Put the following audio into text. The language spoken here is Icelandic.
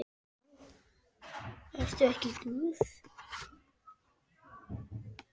Ertu ekki glöð?